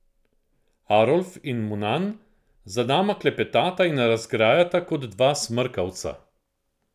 Arolf in Munan za nama klepetata in razgrajata kot dva smrkavca.